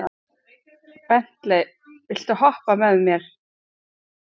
Bentey, viltu hoppa með mér?